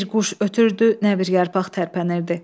Nə bir quş ötürdü, nə bir yarpaq tərpənirdi.